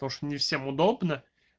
то что не всем удобно